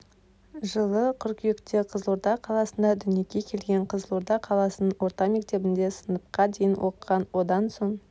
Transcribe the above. жылы қыркүйекте қызылорда қаласында дүниеге келген қызылорда қаласының орта мектебінде сыныпқа дейін оқыған одан соң